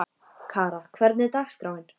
Kara, hvernig er dagskráin?